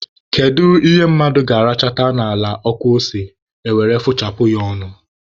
Kedu ihe mmadụ ga-arachata n'ala ọkụ ose, e were fụchapụ ya ọnụ?